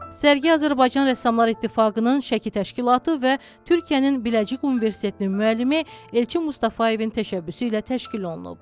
Sərgi Azərbaycan Rəssamlar İttifaqının Şəki təşkilatı və Türkiyənin Biləcik Universitetinin müəllimi Elçin Mustafayevin təşəbbüsü ilə təşkil olunub.